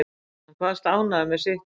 Hann kvaðst ánægður með sitt form